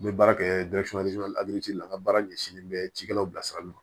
N bɛ baara kɛ aliziri la n ka baara ɲɛsinnen bɛ cikɛlaw bilasirali ma